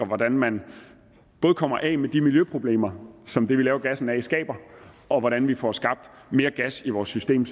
hvordan man kommer af med de miljøproblemer som det vi laver gassen af skaber og hvordan vi får skabt mere gas i vores system